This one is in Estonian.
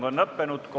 Kohtume homme!